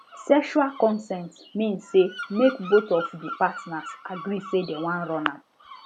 sexual consent mean say mk both of the partners agree say dem wan run am